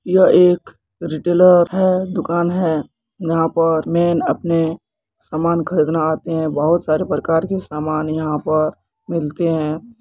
यह एक रिटेलर है दुकान है यहां पर मैन अपने सामान खरीदने आते है बहुत सारे प्रकार के समान यहां पर मिलते है।